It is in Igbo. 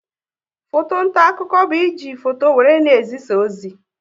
Foto nta akụkọ bụ e ji foto wéré na-ezisa ozi